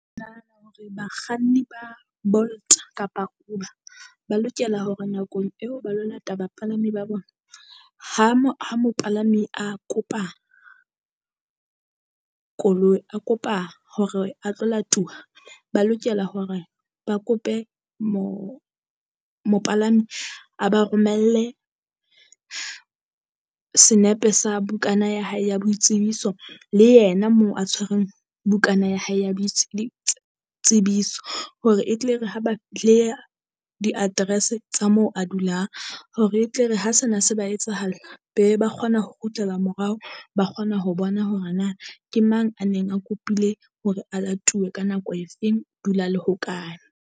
Nahana hore bakganni ba Bolt kapa Uber ba lokela hore nakong eo ba lo lata bapalami ba bona. Ha mo ha mopalami a kopa koloi, a kopa hore a tlo latuwa ba lokela hore ba kope mo mopalami a ba romelle senepe sa bukana ya hae ya boitsebiso, le yena moo a tshwerweng bukana ya hae ya tsebiso. Hore e tle e re ha baleha di-address tsa moo a dulang hore e tle re ha sena se ba etsahalla. Be ba kgona ho kgutlela morao, ba kgona ho bona hore na ke mang a neng a kopile hore a latuwe ka nako efeng o dula le hokae.